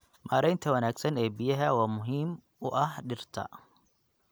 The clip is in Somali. Maareynta wanaagsan ee biyaha waa muhiim u ah dhirta.